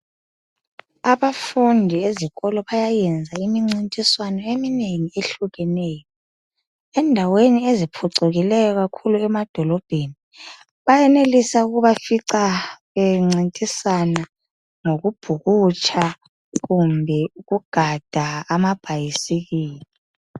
Abafundi ezikolo bayayenza imincintiswano eminengi ehlukeneyo. Endaweni eziphucukileyo kakhulu emadolobheni bayenelisa ukubafica bencintisana ngokubhukutsha kumbe ukugada amabhayisikili .